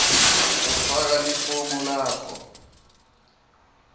ufaka lifomu lakho